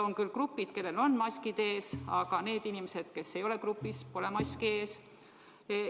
On küll grupid, kellel on maskid ees, aga nendel inimestel, kes ei ole grupis, pole maski ees.